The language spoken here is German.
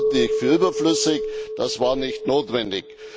Das halte ich für überflüssig, das war nicht notwendig.